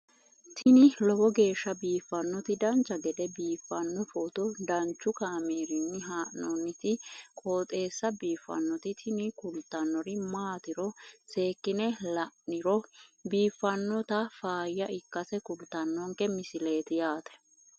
tini lowo geeshsha biiffannoti dancha gede biiffanno footo danchu kaameerinni haa'noonniti qooxeessa biiffannoti tini kultannori maatiro seekkine la'niro biiffannota faayya ikkase kultannoke misileeti yaate